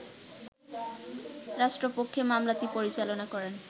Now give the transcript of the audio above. রাষ্ট্রপক্ষে মামলাটি পরিচালনা করেন